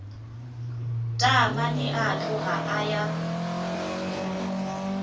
taamane a tloga a ya